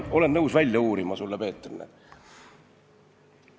Olen nõus need andmed sulle, Peeter, välja uurima.